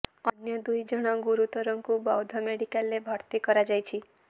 ଅନ୍ୟ ଦୁଇ ଜଣ ଗୁରୁତରଙ୍କୁ ବୌଦ୍ଧ ମେଡିକାଲରେ ଭର୍ତ୍ତି କରାଯାଇଛି